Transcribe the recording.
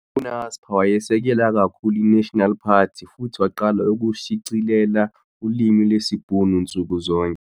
U-Naspers wayesekela kakhulu i-National Party futhi waqala ukushicilela ulimi lwesiBhunu nsuku zonke